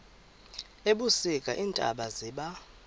ebusika iintaba ziba